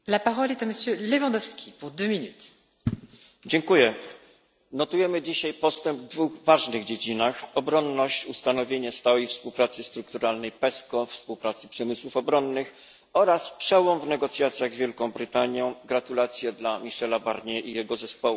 Pani Przewodnicząca! Notujemy dzisiaj postęp w dwóch ważnych dziedzinach obronność ustanowienie stałej współpracy strukturalnej PESCO, współpracy przemysłów obronnych, oraz przełom w negocjacjach z Wielką Brytanią gratulacje dla Michela Barniera i jego zespołu.